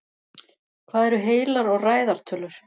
Hvað eru heilar og ræðar tölur?